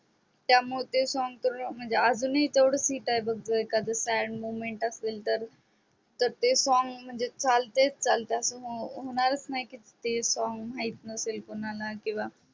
त्यामुळे ते song म्हणजे अजून ही तेव्हडच हिट आहे बघ जर एखाद strong moment तर ते song चालतेच चालते आस होणारच नाही की ते song माहीत नसेल कोणाला